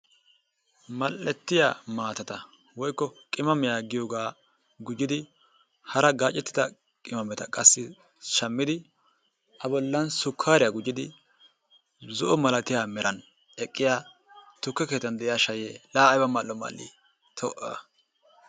mal'ettiya maatatta woykko qimammiya giyoogaa gujjidi hara gaacettida qimmametta qassi shammidi a bolan sukkaariya gujjidi zo'o milattiya meran eqqiya tukke kkettan de'iya shayee laa ayba mal'o mal'ii! ta a